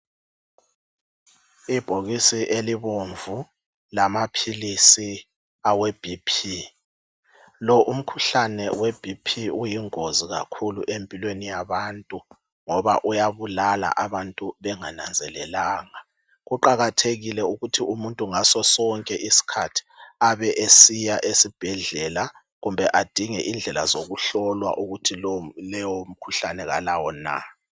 Ibhokisi elibomvu lama philisi aweB.P,lo umkhuhlane we B.P uyingozi kakhulu empilweni yabantu ngoba uyabulala abantu benga nanzelelanga. Kuqakathekile ukuthi umuntu ngaso sonke isikhathi abe esiya esibhedlela kumbe adinge indlela zokuhlolwa ukuthi lowo mkhuhlane kalawo na.